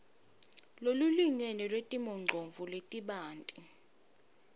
lolulingene lwetimongcondvo letibanti